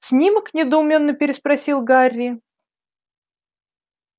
снимок недоуменно переспросил гарри